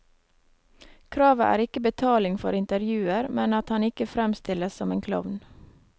Kravet er ikke betaling for intervjuer, men at han ikke fremstilles som en klovn.